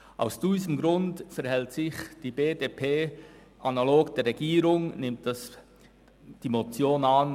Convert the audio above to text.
Aus diesem Grund folgt die BDP den Empfehlungen der Regierung.